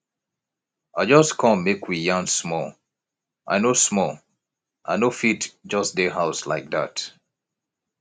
i just come make we yarn small i no small i no fit just dey house like dat